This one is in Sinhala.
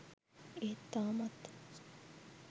ඒත් තාමත්